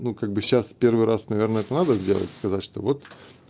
ну как бы сейчас в первый раз наверное надо сделать сказать что вот